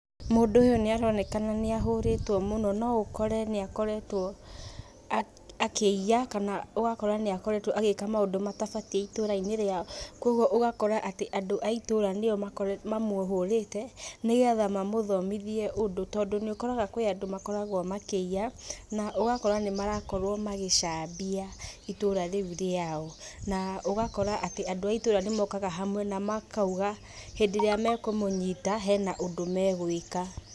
Mũndũ ũyũ nĩaronekana nĩahũrĩtwo mũno, no ũkore nĩakoretwo akĩ akiĩya, kana ũgakora nĩakoretwo agĩka maũndũ matabatiĩ itũrainĩ rĩao, koguo ũgakora atĩ andũ a itũra nĩo mamũhũrĩte, nĩgetha mamũthomithie ũndũ tondũ nĩũkoraga kwĩ andũ makoragwo makĩiya, na ũgakora nĩmarakorwo magicambia itũra riu rĩao, na ũgakora atĩ andũ a itũra nĩmokaga hamwe namakauga hindĩ ĩrĩa mekũmũnyita, hena ũndũ megwĩka.